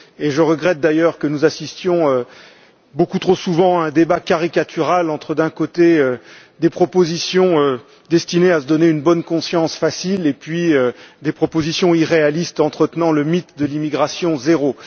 Je regrette d'ailleurs que nous assistions beaucoup trop souvent à un débat caricatural entre, d'un côté, des propositions destinées à se donner une bonne conscience facile et puis, de l'autre, des propositions irréalistes entretenant le mythe de l'immigration zéro.